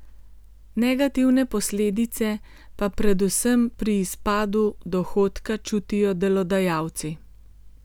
Negativne posledice pa predvsem pri izpadu dohodka čutijo delodajalci.